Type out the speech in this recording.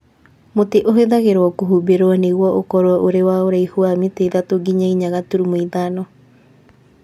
Mũtĩ ũhũthagĩrũo kũhumbĩrũo nĩguo ũkorũo ũrĩ na ũraihu wa mita ithatũ nginya inya gaturumo ithano